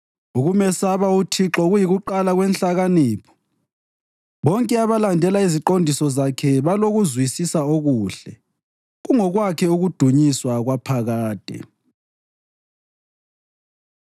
Ukumesaba uThixo kuyikuqala kwenhlakanipho bonke abalandela iziqondiso zakhe balokuzwisisa okuhle. Kungokwakhe ukudunyiswa kwaphakade.